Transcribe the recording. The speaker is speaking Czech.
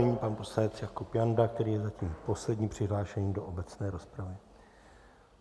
Nyní pan poslanec Jakub Janda, který je zatím poslední přihlášený do obecné rozpravy.